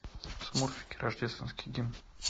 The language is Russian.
смурфики рождественский гимн